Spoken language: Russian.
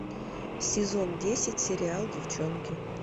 сезон десять сериал девчонки